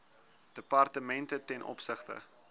departemente ten opsigte